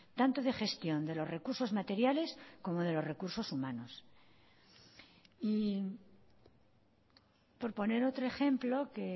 tanto de gestión de los recursos materiales como de los recursos humanos y por poner otro ejemplo que